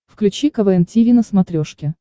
включи квн тиви на смотрешке